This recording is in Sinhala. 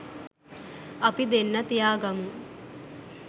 අපි දෙන්න තියාගමු